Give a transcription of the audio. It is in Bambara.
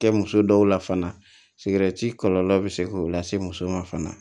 Kɛ muso dɔw la fana kɔlɔlɔ bɛ se k'o lase muso ma fana